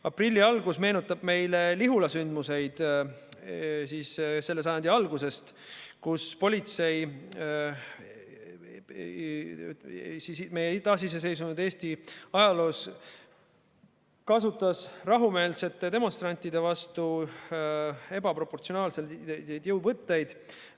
Aprilli algus meenutab meile Lihula sündmuseid selle sajandi algusest: politsei kasutas meie taasiseseisvunud Eestis rahumeelsete demonstrantide vastu ebaproportsionaalseid jõuvõtteid.